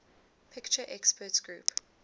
picture experts group